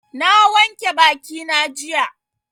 Na wanke bakina jiya.